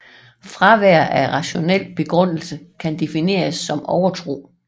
Fravær af rationel begrundelse kan defineres som overtro